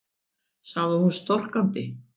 sagði hún storkandi.